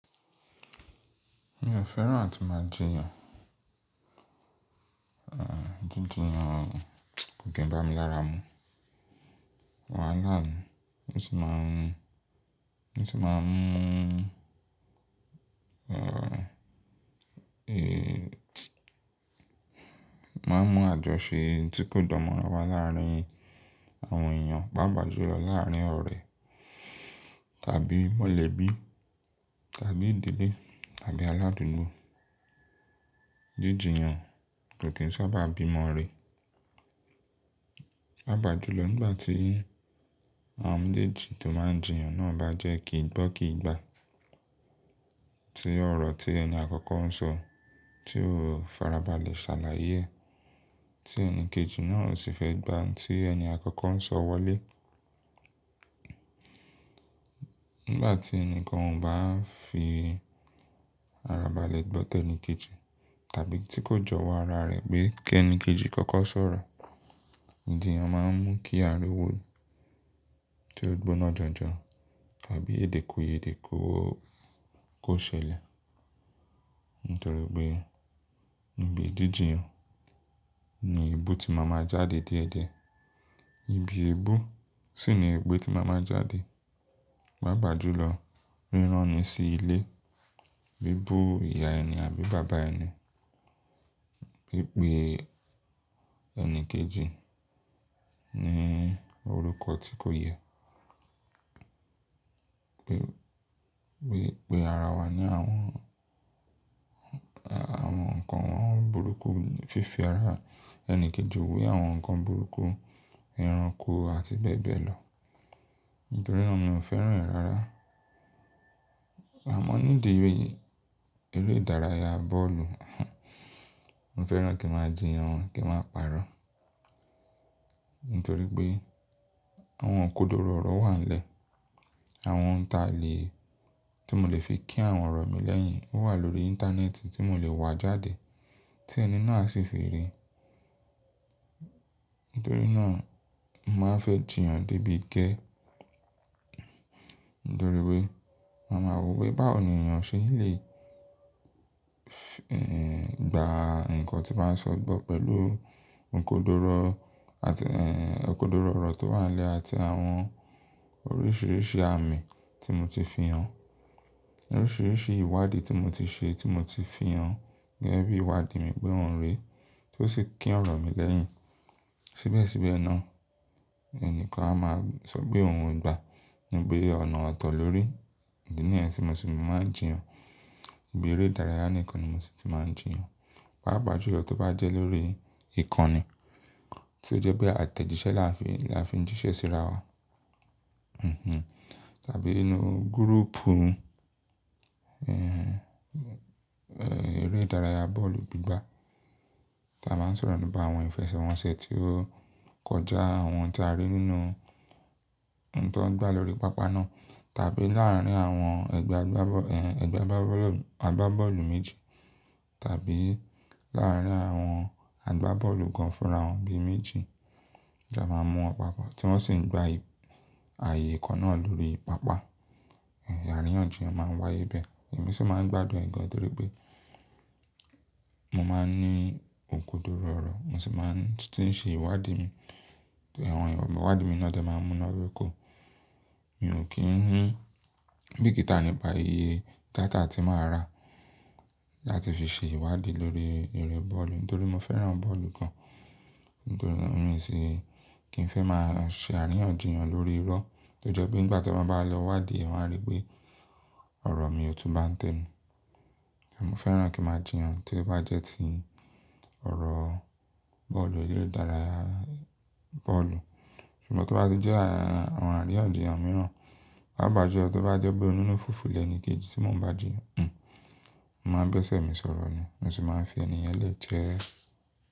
Mi ò fẹ́ràn àti máa jiyàn. Jíjíyan kò ki ń bá mi lára mú. Awọ́n á lá mi. Mo sì máa ń mú àjọṣe tí kò dánmọ́ra wá láàárín àwọn èèyàn, pàápàá jùlọ láàárín ọ̀rẹ́ tàbí mọ̀lẹ́bí tàbí ìdílé tàbí aládùúgbò. Jíjíyan kò kí ń sábà bí mọ́ re. Pàápàá jùlọ nígbà tí àwọn méjèjì tó máa ń jiyàn náà bá jẹ́ kì í gbọ́ kì í gbà. Tí ọ̀rọ̀ tí ẹni àkọ́kọ́ ń sọ tí ó farabalẹ̀ ṣàlàyé ẹ, tí ẹni kejì náà sì fẹ́ gbà tí ẹni àkọ́kọ́ ń sọ wọlé. Nígbà tí ẹni kan ò bá ń fi ara balẹ̀ gbọ́ tẹni kejì tàbí tí kò jọwọ́ ara rẹ̀ pé kí ẹni kejì kọ́kọ́ sọ̀rọ̀, ìjiyàn máa ń mú kí a ríwó tí ó gbóná janjan tàbí èdèkùyèdè kó ṣẹlẹ̀. Nítorí pé ibi jíjíyan ni éébú tí màá máa jáde déẹ̀dẹ̀. Ibi éébú sì ni épè tí màá máa jáde. Pàápàá jùlọ, rírán ni sí ilé bí bú ìyá ẹni àbí bàbá ẹni. Bí pé ẹni kejì ní orúkọ tí kò yẹ. Bí pé ara wa ní àwọn nǹkan burúkú fífi ara ẹni kejì wé àwọn nǹkan burúkú, ẹranko àti bẹ́ẹ̀ bẹ́ẹ̀ lọ. Nítorí náà mi ò fẹ́ràn ẹ̀ rárá. Àmọ́ nídìí eré ìdárayá bọ́ọ̀lù, mo fẹ́ràn kí màá jiyàn kí n máa parọ́. Nítorí pé àwọn okódóró ọ̀rọ̀ wà nílẹ̀. Àwọn ǹkan tí mo lè fi kín àwọn ọ̀rọ̀ mi lẹ́yìn wà lórí íńtánẹ́ẹ̀tì tí mo lè wá jáde tí ẹni náà sì fi rí. Nítorí náà, mo màá fẹ́ jiyàn débi gẹẹ. Nítorí pé màá maa wo pé báwo ni èèyàn ṣe lè gba nǹkan tín bàá sọ gbọ́ pẹ̀lú okódóró ọ̀rọ̀ tó wà nílẹ̀ àti àwọn oríṣìíríṣìí àmì tí mo ti fi hàn. Oríṣìíríṣìí ìwádìí tí mo ti ṣe tí mo ti fi hàn gẹ́gẹ́ bí ìwádìí mi pé òun rè é, tó sì kín ọ̀rọ̀ mi lẹ́yìn. Síbẹ̀síbẹ̀ náà, ẹni kan á máa sọ pé òun ń gba. Pé ọ̀nà ọ̀tọ̀ lórí. Ìdí nìyẹn tí mo sì máa ń jiyàn. Ibí eré ìdárayá nìkan ni mo sì ti máa ń jiyàn. Pàápàá jùlọ tó bá jẹ́ lórí ìkànnì tí ó jẹ́ pé àtẹ̀jíṣẹ́ la fi ń jíṣẹ́ síra wa. Tàbí nínú gúrúùpù eré ìdárayá bọ́ọ̀lù gbígbà tí a máa ń sọ̀rọ̀ nípa àwọn ìfẹsẹ̀wọnsẹ̀ tí ó kọjá, àwọn tí a rí nínú ohun tó ń gbá lórí pápá náà tàbí láàárín àwọn àgbá bọ́ọ̀lù méjì tàbí láàárín àwọn àgbá bọ́ọ̀lù kan fúnra wọn bí i méjì tí a máa ń mú pápọ̀ tí wọ́n sì ń gbá ààyè kan náà lórí pápá. Àríyànjiyàn máa ń wáyé bẹ́ẹ̀. Èmi sì máa ń gbádùn ìgan nítorí pé mo máa ń ní òkòdoro ọ̀rọ̀, mo sì máa ń ṣe ìwádìí mi. Àwọn ìwádìí mi náà jẹ́ màá mú iná dóko. Mi ò kí ń rí bíi kítà nípa iye data tí màá rà láti fi ṣe ìwádìí lórí eré bọ́ọ̀lù. Nítorí mo fẹ́ran bọ́ọ̀lù kan. Nítorí mi ò sì kí ń fẹ́ máa ṣe àríyànjiyàn lórí irọ́ tó jẹ́ pé nígbà tí wọ́n bá lọ wádìí, wọ́n á rí pé ọ̀rọ̀ mi òtù bá ń tẹ ni. Ẹ̀mí fẹ́ràn kí màá jiyàn tí ó bá jẹ́ ti ọ̀rọ̀ bọ́ọ̀lù eré ìdárayá bọ́ọ̀lù. Ṣùgbọ́n tó bá jẹ́ àwọn àríyànjiyàn mìíràn, pàápàá jùlọ tó bá jẹ́ pé inú fùfú lẹ ẹni kejì tí mo ń bá jiyàn, mo máa ń bẹ̀sẹ̀ mi sọ̀rọ̀ ni. Mo sì máa ń fi ẹni yẹ̀n lẹ́ jẹ́ẹ̀